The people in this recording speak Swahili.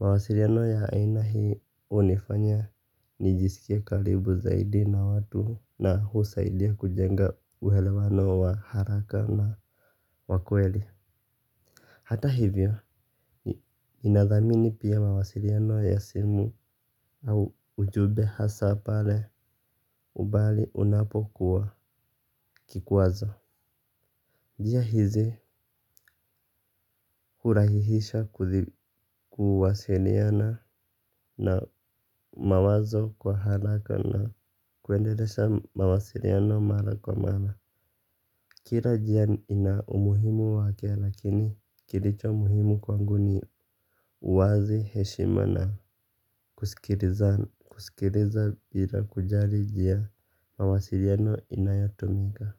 Mawasiliano ya aina hii hunifanya nijisikie karibu zaidi na watu na husaidia kujenga uelewano wa haraka na wa kweli. Hata hivyo, inadhamini pia mawasiliano ya simu au ujumbe hasa pale ubali unapokuwa kikwazo. Njia hizi hurahihisha kuwasiliana na mawazo kwa haraka na kuendelesha mawasiliano mara kwa mara. Kila njia ina umuhimu wake lakini kilicho muhimu kwangu ni uwazi heshima na kusikiliza bila kujali njia mawasiliano inayotumika.